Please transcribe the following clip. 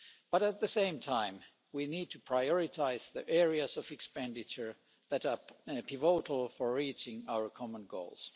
But, at the same time, we need to prioritise the areas of expenditure that are pivotal for reaching our common goals.